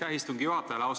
Aitäh istungi juhatajale!